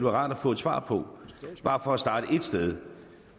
rart at få et svar på bare for at starte et sted